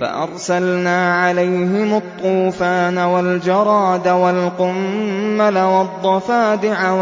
فَأَرْسَلْنَا عَلَيْهِمُ الطُّوفَانَ وَالْجَرَادَ وَالْقُمَّلَ وَالضَّفَادِعَ